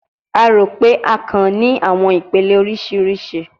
A ro pe akàn ni awọn ipele oriṣiriṣi